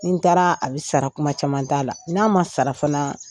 Nin taara a bɛ sara kuma caman t'a la, n'a ma sarafanaa